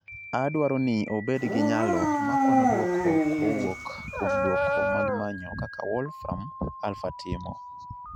Adwaro ni obed gi nyalo ma kwano duoko kowuok kuom duoko mag manyo kaka wolfram aplha timo